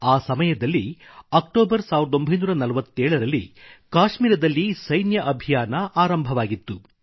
ಆ ಸಮಯದಲ್ಲಿ ಅಕ್ಟೋಬರ್ 1947 ರಲ್ಲಿ ಕಾಶ್ಮೀರದಲ್ಲಿ ಸೈನ್ಯ ಅಭಿಯಾನ ಆರಂಭವಾಗಿತ್ತು